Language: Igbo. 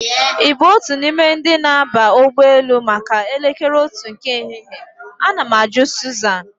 Ị bụ otu n'ime ndi na-aba ụgbọelu maka elekere otu nke ehihie? Ana m ajụ Sụzan